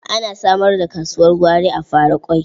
A samar da kasuwar gwari a Faraƙwai.